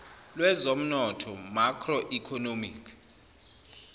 lwezomnotho macro economic